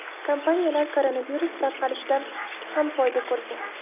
Kompaniyalar koronavirus tarqalishidan ham foyda ko‘rgan.